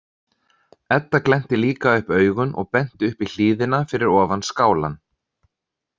Edda glennti líka upp augun og benti upp í hlíðina fyrir ofan skálann.